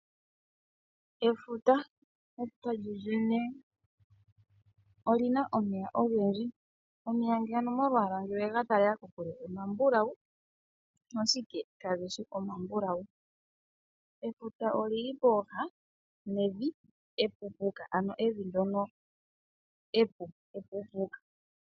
Efuta lyolyene olina omeya ogendji, omeya ngele owega talele kokule omambulawu ashike kageshi omambulawu, efuta olili pooha nevi epuupuka ano evi ndono epu.